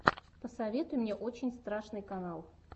посоветуй мне очень страшный канал